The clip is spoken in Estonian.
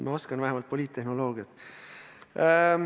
Ma oskan vähemalt poliittehnoloogiat.